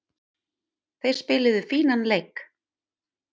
Þeir spiluðu fínan leik.